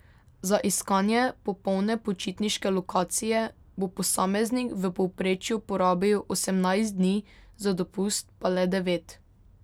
Za iskanje popolne počitniške lokacije bo posameznik v povprečju porabil osemnajst dni, za dopust pa le devet.